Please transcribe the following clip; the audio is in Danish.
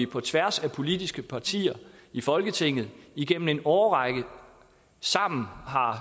på tværs af politiske partier i folketinget igennem en årrække sammen